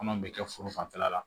Kɔnɔ bɛ kɛ foro fanfɛla la